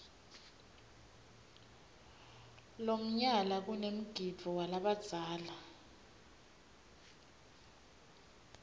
lomnyala kanemgidvo walabadzala